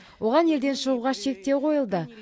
оған елден шығуға шектеу қойылды